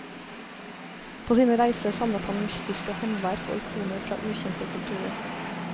På sine reiser samlet han mystiske håndverk og ikoner fra ukjente kulturer.